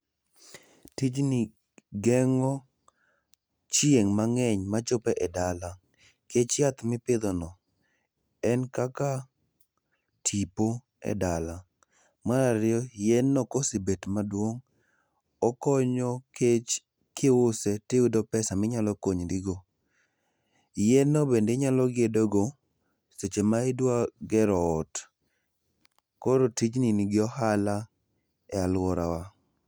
Tijni gengo chieng mangeny machopo e dala nikech yath mipidho no en kaka tipo e dala. Mar ariyo yien no kosebet maduong okonyo nikech kiuse tiyudo pesa minyalo konyorigo. Yien no bende inyalo gedo go seche ma idwa gero ot. Koro tijni nigi ohala e aluorawa